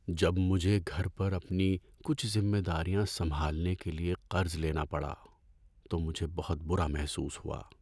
جب مجھے گھر پر اپنی کچھ ذمہ داریاں سنبھالنے کے لیے قرض لینا پڑا تو مجھے بہت برا محسوس ہوا۔